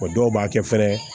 Wa dɔw b'a kɛ fɛnɛ